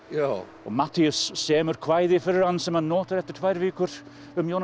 og Matthías semur kvæði fyrir hann sem hann notar eftir tvær vikur um Jónas